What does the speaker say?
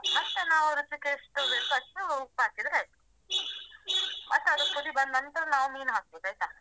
ಮತ್ತೆ ನಾವು ರುಚಿಗೆ ಎಷ್ಟು ಬೇಕು ಅಷ್ಟು ಉಪ್ಪು ಹಾಕಿದ್ರೆ ಆಯ್ತು ಮತ್ತದು ಕುದಿ ಬಂದ್ನಂತ್ರ ನಾವು ಮೀನು ಹಾಕ್ಬೇಕು ಆಯ್ತಾ.